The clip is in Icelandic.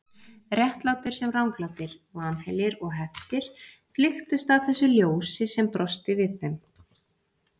Réttlátir sem ranglátir, vanheilir og heftir flykktust að þessu ljósi sem brosti við þeim.